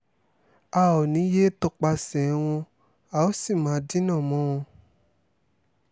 a ò ní yéé tọpasẹ̀ wọn a ó sì máa dínà mọ́ wọn